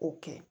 O kɛ